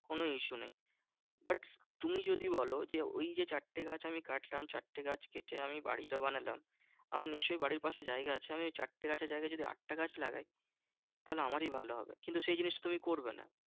কোনো issue নেই। but তুমি যদি বোলো যে ওই যে চারটে গাছ আমি কাটলাম, ওই চারটে গাছ কেটে আমি বাড়ি বানালাম। আমার নিশ্চই বাড়ির পাশে জায়গা আছে আমি ওই চারটে গাছের জায়গায় যদি আটটা গাছ লাগাই তাহলে আমারই ভালো হবে। কিন্তু সেই জিনিসটা তুমি করবে না।